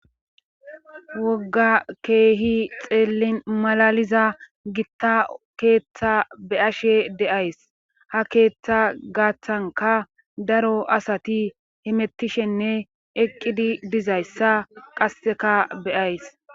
wogga keehi xeellin malaliza gitta keeththa be ashe deays ha keeththa gaaththanka daro asati himettishenne eqqidi dizayssa qasseka beyays